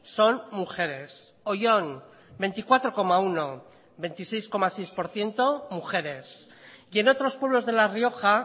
son mujeres oyón veinticuatro coma uno veintiséis coma seis por ciento mujeres y en otros pueblos de la rioja